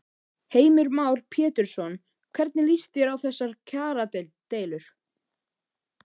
Heimir Már Pétursson: Hvernig lýst þér á þessar kjaradeilur?